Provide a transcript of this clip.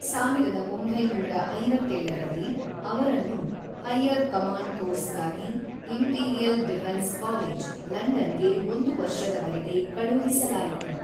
ಸಾವಿರದ ಒಂಬೈನೂರ ಐವತ್ತೇಳರಲ್ಲಿ ಅವರನ್ನು, ಹೈಯರ್ ಕಮಾಂಡ್ ಕೋರ್ಸ್‌ಗಾಗಿ ಇಂಪೀರಿಯಲ್ ಡಿಫೆನ್ಸ್ ಕಾಲೇಜ್, ಲಂಡನ್‌ ಗೆ ಒಂದು ವರ್ಷದವರೆಗೆ ಕಳುಹಿಸಲಾಯಿತು.